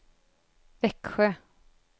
Växjö